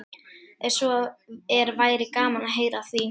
Ef svo er væri gaman að heyra af því.